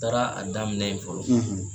taara a daminɛ ye fɔlɔ.